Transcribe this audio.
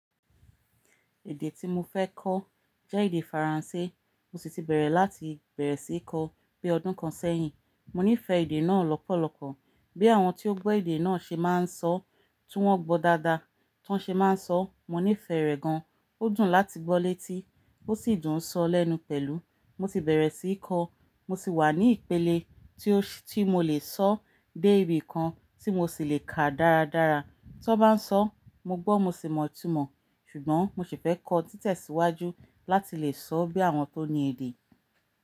Èdè tí mo fẹ́ kọ́ jẹ́ èdè Faransé. Mo sì ti bẹ̀rẹ̀ láti bẹ̀rẹ̀ sí í kọ́ bí ọdún kan sẹ́yìn. Mo nífẹ̀ẹ́ èdè náà lọ́pọ̀lọpọ̀. Boya àwọn tí o gbọ́ èdè náà ṣe máa ń sọ, tí wọ́n gbọ́ dáadáa, tí wọ́n ṣe máa ń sọ, mo nífẹ̀ẹ́ rẹ̀ gan. Ó dùn láti gbọ́ létí, ó sì dùn sọ lẹ́nu pẹ̀lú. Mo ti bẹ̀rẹ̀ sí í kọ́, mo sì wà ní ìpele tí ó ti mo lè sọ dé ibì kan tí mo sì lè kà dáradára. Tí ó bá ń sọ, mo gbọ́ mo sì mọ̀ itumọ̀, ṣùgbọ́n mo sì fẹ́ kọ́ títẹ̀síwájú láti lè sọ bí àwọn tó ní èdè.